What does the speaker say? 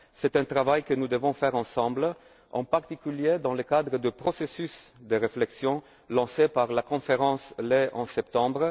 grave. C'est un travail que nous devons mener ensemble, en particulier dans le cadre du processus de réflexion lancé par la conférence lait de septembre.